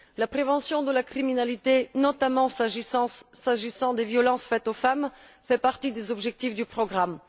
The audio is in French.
La prévention de la criminalité, notamment s'agissant des violences faites aux femmes, fait partie des objectifs du programme.